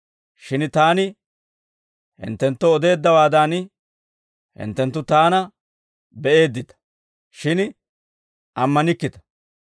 Shin taani hinttenttoo odeeddawaadan, hinttenttu taana be'eeddita; shin ammanikkita.